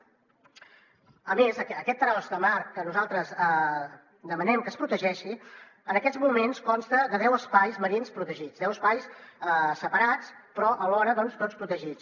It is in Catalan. a més aquest tros de mar que nosaltres demanem que es protegeixi en aquests moments consta de deu espais marins protegits deu espais separats però alhora tots protegits